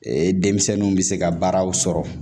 Ee denmisɛnninw bɛ se ka baaraw sɔrɔ